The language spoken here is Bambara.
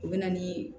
O bɛ na ni